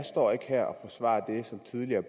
jeg